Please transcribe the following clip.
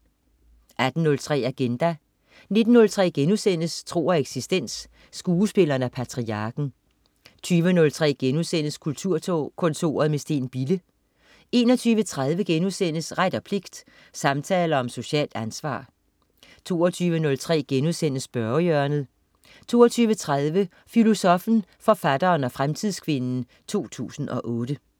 18.03 Agenda 19.03 Tro og eksistens. Skuespilleren og patriarken* 20.03 Kulturkontoret med Steen Bille* 21.30 Ret og pligt, samtaler om socialt ansvar* 22.03 Spørgehjørnet* 22.30 Filosoffen, forfatteren og fremtidskvinden 2008